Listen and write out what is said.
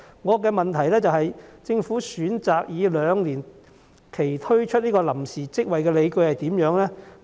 我的補充質詢是，政府選擇以兩年為期推出臨時職位的理據為何？